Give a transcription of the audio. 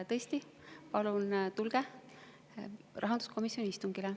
Tõesti, palun tulge rahanduskomisjoni istungile.